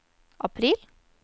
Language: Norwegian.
april